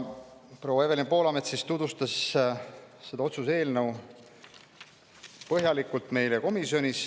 Proua Evelin Poolamets tutvustas meile komisjonis seda otsuse eelnõu põhjalikult.